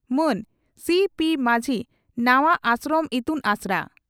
ᱢᱟᱱ ᱥᱤᱹᱯᱤᱹ ᱢᱟᱹᱡᱷᱤ ᱱᱟᱣᱟᱹᱹᱹᱹᱹ ᱟᱥᱨᱚᱢ ᱤᱛᱩᱱ ᱟᱥᱲᱟ